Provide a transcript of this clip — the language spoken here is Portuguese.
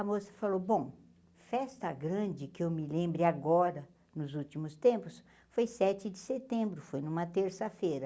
A moça falou, bom, festa grande, que eu me lembre agora, nos últimos tempos, foi sete de setembro, foi numa terça-feira.